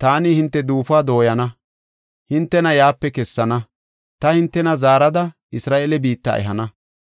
taani hinte duufuwa dooyana; hintena yaape kessana; ta hintena zaarada, Isra7eele biitta ehana.